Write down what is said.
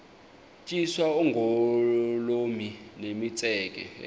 tyiswa oogolomi nemitseke